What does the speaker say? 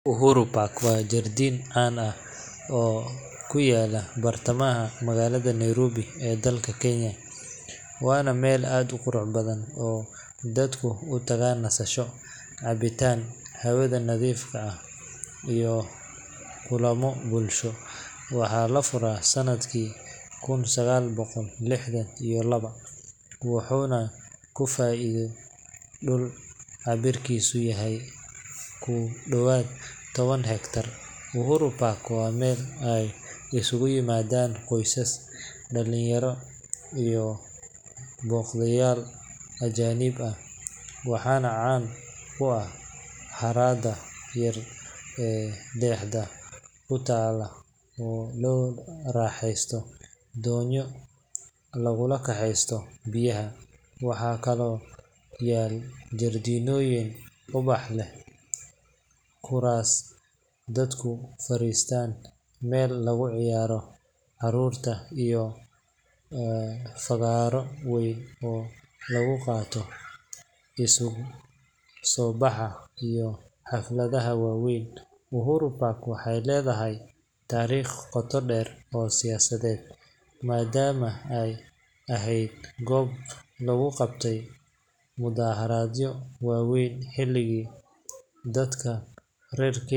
Uhuru Park waa jardiin caan ah oo ku yaalla bartamaha magaalada Nairobi ee dalka Kenya, waana meel aad u qurux badan oo dadku u tagaan nasasho, cabitaan hawada nadiifta ah, iyo kulammo bulsho. Waxaa la furay sanadkii kun sagaal boqol lixdan iyo laba, wuxuuna ku fadhiyo dhul cabbirkiisu yahay ku dhowaad toban hektar. Uhuru Park waa meel ay isugu yimaadaan qoysas, dhalinyaro, iyo booqdayaal ajaanib ah, waxaana caan ku ah harada yar ee dhexda ka taal oo lagu raaxaysto doonyo lagu kaxaysto biyaha. Waxaa kaloo yaal jardiinooyin ubax leh, kuraas dadku fariistaan, meel lagu ciyaaro carruurta, iyo fagaaro weyn oo lagu qabto isu soo baxyada iyo xafladaha waaweyn. Uhuru Park waxay leedahay taariikh qoto dheer oo siyaasadeed, maadaama ay ahayd goob lagu qabtay mudaharaadyo waaweyn xilligii dadka reer Kenya .